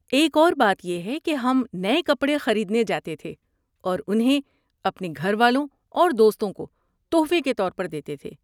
ایک اور بات یہ ہے کہ ہم نئے کپڑے خریدنے جاتے تھے اور انہیں اپنے گھر والوں اور دوستوں کو تحفے کے طور پر دیتے تھے۔